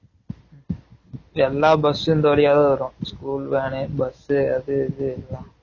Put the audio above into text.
எல்லா bus இந்த வழியா தான் வரும் school van bus அது இது எல்லாம்